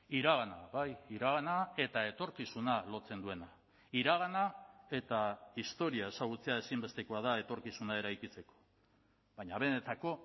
iragana bai iragana eta etorkizuna lotzen duena iragana eta historia ezagutzea ezinbestekoa da etorkizuna eraikitzeko baina benetako